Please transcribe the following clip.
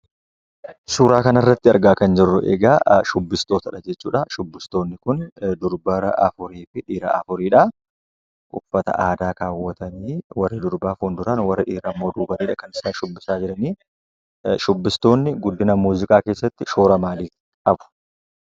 Suura kana irratti argaa kan jirru egaa shubbistootaadha. Shubbistootni Kun dubara afurii fi dhiira afuridha. Uffata aadaa kaawwatanii warri dubaraa fulduraan warri dhiiraa immoo duuba irraanidha kan isaan shubbisaa jiranii. Shubbistootni guddina aadaa keessatti shoora akkamii qabu?